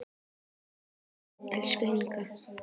Takk, elsku Inga.